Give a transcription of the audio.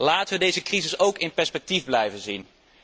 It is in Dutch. Laten wij deze crisis ook in perspectief blijven zien.